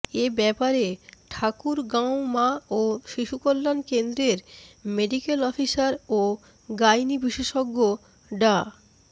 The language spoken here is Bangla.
এ ব্যাপারে ঠাকুরগাঁও মা ও শিশু কল্যাণ কেন্দ্রের মেডিক্যাল অফিসার ও গাইনি বিশেষজ্ঞ ডা